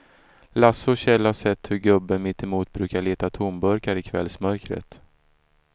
Lasse och Kjell har sett hur gubben mittemot brukar leta tomburkar i kvällsmörkret.